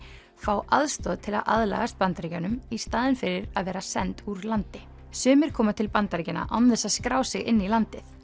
fá aðstoð til að aðlagast Bandaríkjunum í staðinn fyrir að vera send úr landi sumir koma til Bandaríkjanna án þess að skrá sig inn í landið